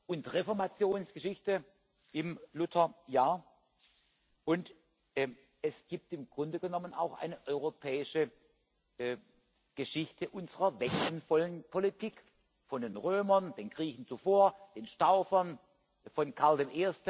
und Reformationsgeschichte im Lutherjahr, und es gibt im Grunde genommen auch eine europäische Geschichte unserer wechselvollen Politik, von den Römern, den Griechen, zuvor, den Staufern, von Karl I.